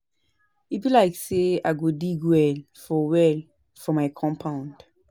E be like say I go dig well for well for my compound